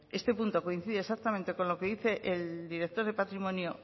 este punto coincide exactamente con lo que dice el director de patrimonio